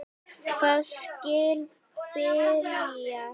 Hvar skal byrja.